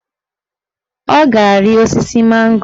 Ọ ga-ari osisi mango